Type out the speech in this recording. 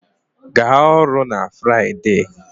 Gaa ọrụ na Friday